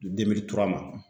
ma.